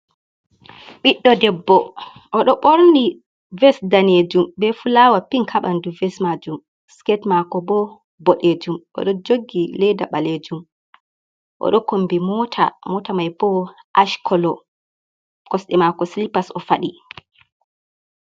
Biddo debbo odo borni ves danejum ,be fulawa pink habandu ves majum siket mako bo bodejum odo jogi leda balejum o do kombi mota mota mai bo ashkolo kosde mako slipas o fadi.